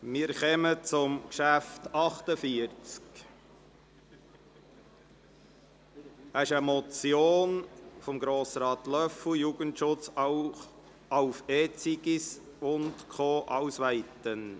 Beim Traktandum 48 handelt es sich um eine Motion von Grossrat Löffel zum Thema «Jugendschutz auf E-Zigis & Co ausweiten!».